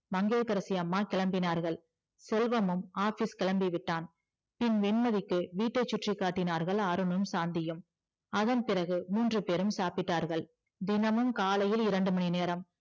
மங்கையகரசி அம்மா கிளம்பினார்கள் செல்வமும் office கிளம்பிவிட்டான் பின் வெண்மதிக்கு வீட்டை சுற்றி காட்டினார்கள் அருணும் சாந்தியும் அதன் பிறகு மூன்று பெரும் சாப்பிட்டார்கள் தினமும் காலை இரண்டு மணிநேரம்